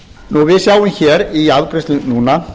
nú við sjáum hér í afgreiðslu núna